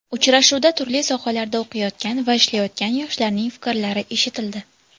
Uchrashuvda turli sohalarda o‘qiyotgan va ishlayotgan yoshlarning fikrlari eshitildi.